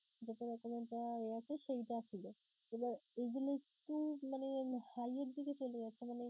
সেইটা ছিলো এবার এইগুলো একটু মানে হালের দিকে চলে যাচ্ছে মানে